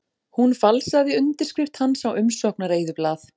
Hún falsaði undirskrift hans á umsóknareyðublað